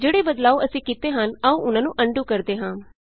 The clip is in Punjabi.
ਜਿਹੜੇ ਬਦਲਾਉ ਅਸੀਂ ਕੀਤੇ ਹਨ ਆਉ ਉਹਨਾਂ ਨੂੰ ਅਨਡੂ ਕਰਦੇ ਹਾਂ